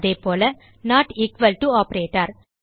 அதேபோல not equal to operator